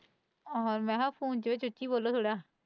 ਮੈਂ ਨਾ ਫ਼ੋਨ ਵਿੱਚ ਉੱਚੀ ਬੋਲੋ ਥੋੜਾ।